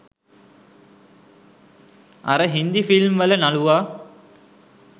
අර හින්දි ෆිල්ම් වල නළුවා